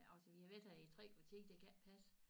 Altså vi har været her i 3 kvarter det kan ikke passe